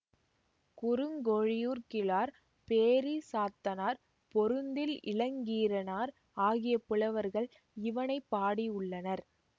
குறுங்கோழியூர் கிழார் பேரிசாத்தனார் பொருந்தில் இளங்கீரனார் ஆகிய புலவர்கள் இவனை பாடியுள்ளனர்